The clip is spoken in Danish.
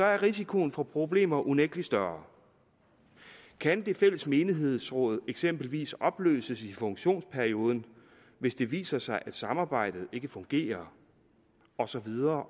er risikoen for problemer unægtelig større kan det fælles menighedsråd eksempelvis opløses i funktionsperioden hvis det viser sig at samarbejdet ikke fungerer og så videre